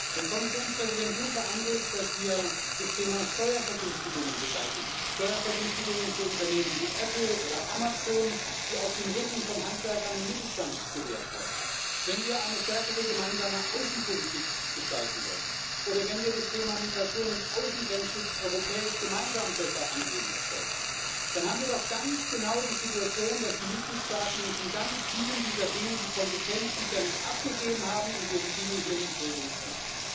Wenn Kommissionspräsident Juncker anregt, dass wir das Thema Steuervergünstigungen beseitigen, Steuervergünstigungen für Unternehmen wie Apple oder Amazon, die auf dem Rücken von Handwerkern und Mittelstand gewährt werden, wenn wir eine stärkere gemeinsame Außenpolitik gestalten wollen oder wenn wir das Thema Migration und Schutz der Außengrenzen europäisch gemeinsam besser angehen wollen, dann haben wir doch ganz genau die Situation, dass die Mitgliedstaaten uns in ganz vielen dieser Dinge die Kompetenz bisher nicht abgegeben haben und wir die Dinge hier nicht regeln können.